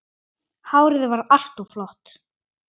Hárið var alltaf flott.